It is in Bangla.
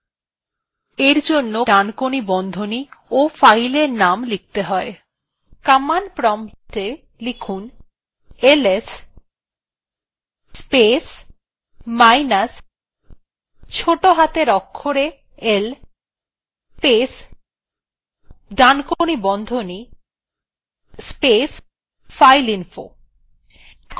command প্রম্পটwe লিখুন ls space minus ছোটো হাতের অক্ষরে l space right angle bracket space fileinfo